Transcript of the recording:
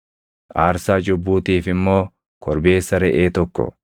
aarsaa cubbuutiif immoo korbeessa reʼee tokko,